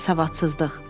Savadsızlıq.